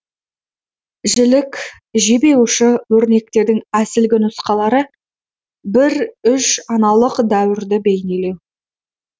жілік жебе ұшы өрнектерінің әсілгі нұсқалары бір үш аналық дәуірді бейнелеу